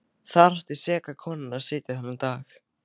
Þar átti seka konan að sitja þennan dag.